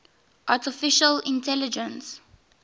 artificial intelligence